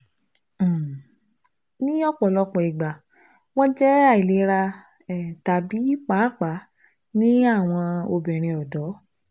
um Ni ọpọlọpọ igba wọn jẹ ailera (tabi, paapaa ni awọn obinrin ọdọ